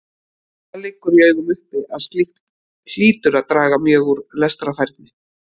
Það liggur í augum uppi að slíkt hlýtur að draga mjög úr lestrarfærni.